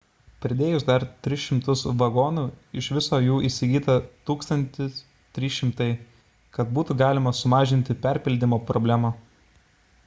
pridėjus dar 300 vagonų iš viso jų įsigyta 1 300 kad būtų galima sumažinti perpildymo problemą